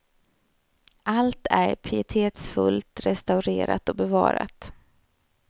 Allt är pietetsfullt restaurerat och bevarat.